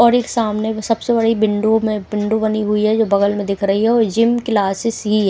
और एक सामने में सबसे बड़ी विंडो में विंडो बनी हुई है जो बगल में दिख रही है और जिम क्लासेस भी है।